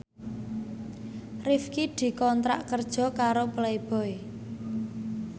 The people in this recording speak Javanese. Rifqi dikontrak kerja karo Playboy